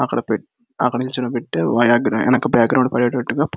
అక్కడ అక్కడ నిల్చోపెట్టి వెనుకల బ్యాక్గ్రౌండ్ పడేటట్లు --